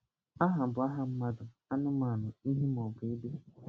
Aha bụ aha mmadụ, anụmanụ, ihe maọbụ ebe.